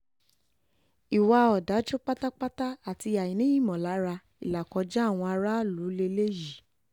ìwà ọ̀dájú pátápátá àti àìní ìmọ̀lára ìlàkọjá àwọn aráàlú lélẹ́yìí